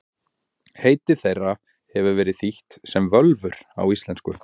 Heiti þeirra hefur verið þýtt sem völvur á íslensku.